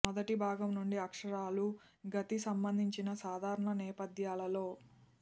మొదటి భాగం నుండి అక్షరాలు గతి సంబంధించిన సాధారణ నేపధ్యాలలో